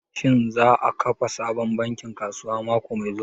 Shin za a kafa sabon bankin kasuwa mako mai zuwa?